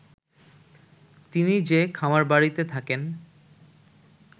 তিনি যে খামারবাড়িতে থাকেন